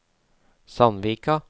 Sandvika